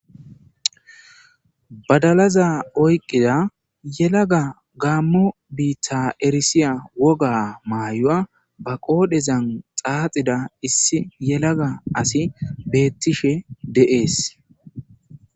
badalaza oyqida yelaga gaammo biitta erisiya woga maayuwa ba qoodhezan xaaxida issi yelaga asi beettishe de'es